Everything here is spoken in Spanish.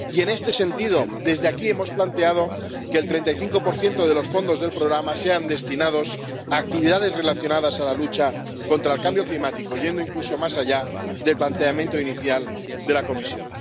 Y, en este sentido, desde aquí hemos planteado que el 35 de los fondos del programa sean destinados a actividades relacionadas con la lucha contra el cambio climático, yendo incluso más allá del planteamiento inicial de la Comisión.